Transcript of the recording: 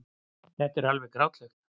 Þetta var alveg grátlegt.